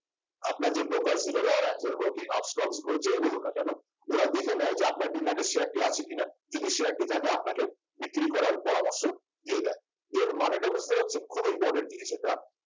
আপনার যে borker Zerodha Angel broking Upstox যে যেই বলুন না কেন ওরা দেখে নেয় যে আপনার demat এ share টি আছে কিনা যদি share টি থাকে আপনাকে বিক্রি করার পরামর্শ দিয়ে দেয় এর মানেটা বুঝতে পারছেন খুবই important জিনিস এটা